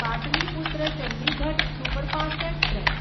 Pataliputra Chandigarh superfast express